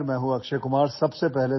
''hello, میں اکشے کمار ہوں